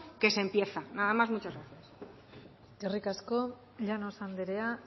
que se empieza nada más muchas gracias eskerrik asko llanos andrea